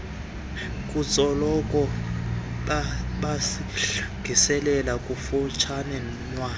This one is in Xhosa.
kutsolo bazilile kukushiywa